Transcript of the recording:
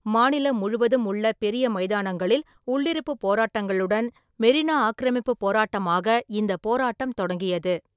மாநிலம் முழுவதும் உள்ள பெரிய மைதானங்களில் உள்ளிருப்பு போராட்டங்களுடன் மெரினா ஆக்கிரமிப்பு போராட்டமாக இந்த போராட்டம் தொடங்கியது.